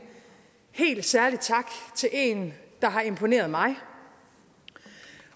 helt særlig tak til en der har imponeret mig